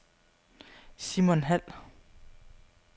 Simon Hald